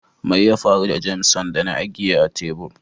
Mai ya faru da "Jameson " da na agiye a tebur?